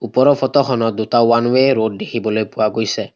ওপৰৰ ফটো খনত দুটা ওৱান ওৱে ৰোড দেখিবলৈ পোৱা গৈছে।